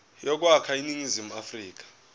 yokwakha iningizimu afrika